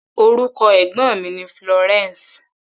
Orúkọ ẹ̀gbọ́n mi ni Florence.